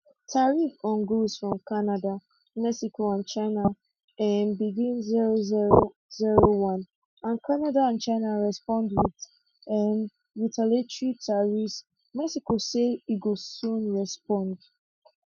tariffs on goods from canada mexico and china um begin 0001 and canada and china respond wit um retaliatory tariffs mexico say e go soon respond